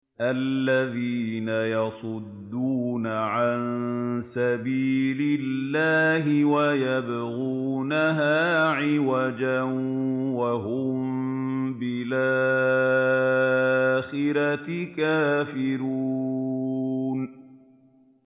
الَّذِينَ يَصُدُّونَ عَن سَبِيلِ اللَّهِ وَيَبْغُونَهَا عِوَجًا وَهُم بِالْآخِرَةِ كَافِرُونَ